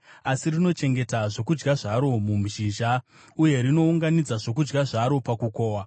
asi rinochengeta zvokudya zvaro muzhizha, uye rinounganidza zvokudya zvaro pakukohwa.